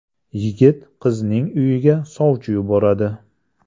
Yigit qizning uyiga sovchi yuboradi.